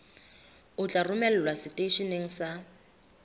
o tla romelwa seteisheneng sa